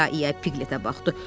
İya-iya Piqletə baxdı.